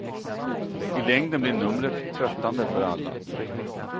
I längden blir numret tröttande för alla.